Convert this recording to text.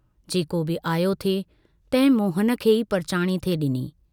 जेको बि आयो थे तंहिं मोहन खे ई परचाणी थे डिनी।